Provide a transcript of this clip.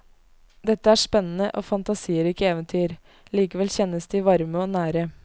Dette er spennende og fantasirike eventyr, likevel kjennes de varme og nære.